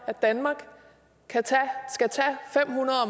at danmark skal tage fem hundrede